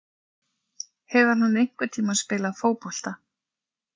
Hefur hann einhvern tíma spilað fótbolta?